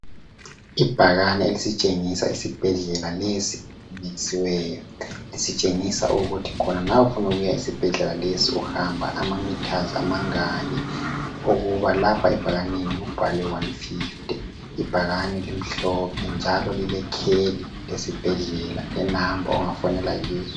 Ibhakane elitshengisa isibhedlela lisitshengisa ukuthi khona nxa ufuna ukuya esibhedlela lesi uhamba ama mithazi amangaki ukuba lapha ebhakaneni kubhalwe 150 ibhakane limhlophe njalo lilekheli lesibhedlela lenamba ongafonela kizo